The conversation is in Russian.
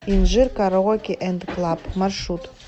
инжир караоке энд клаб маршрут